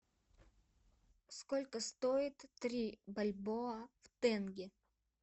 сколько стоит три бальбоа в тенге